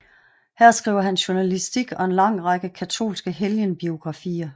Her skriver han journalistik og en lang række katolske helgenbiografier